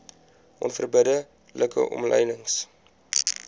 onverbidde like omlynings